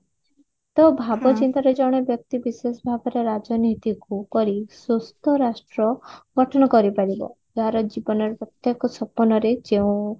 ତ ଭାବ ଯେତେବେଳେ ଜଣେ ବ୍ୟକ୍ତି ବିଶେଷ ଭାବରେ ରାଜନୀତିକୁ କିପରି ସୁସ୍ଥ ରାଷ୍ଟ୍ର ଗଠନ କରି ପାରିବ ଯାହାର ଜୀବନରେ ପ୍ରତ୍ୟକ ସପନରେ ଯେଉଁ